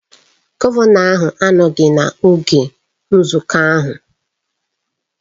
Gọvanọ ahụ anọghị n'oge nzukọ ahụ